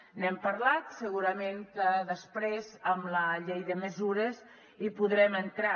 n’hem parlat segurament que després amb la llei de mesures hi podrem entrar